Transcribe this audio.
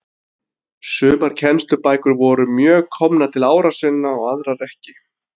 Sumar kennslubækur voru mjög komnar til ára sinna og aðrar ekki til.